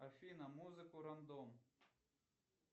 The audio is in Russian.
афина музыку рандом